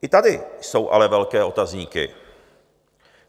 I tady jsou ale velké otazníky.